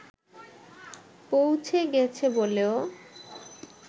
পৌঁছে গেছে বলেও